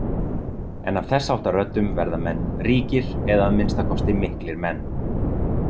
En af þessháttar röddum verða menn ríkir eða að minnsta kosti miklir menn.